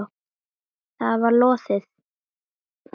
Það var lóðið!